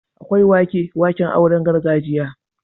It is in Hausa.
Akwai wake-waken auren gargajiya.